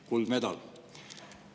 Kuldmedal!